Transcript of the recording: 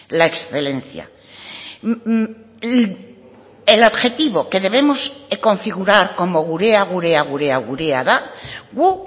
la excelencia el objetivo que debemos configurar como gurea gurea gurea gurea da gu